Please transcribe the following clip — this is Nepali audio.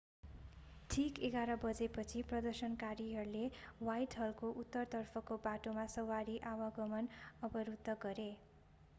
ठिक 11:00 बजेपछि प्रदर्शनकारीहरूले ह्वाइटहलको उत्तरतर्फको बाटोमा सवारी आवागमन अवरुद्ध गरे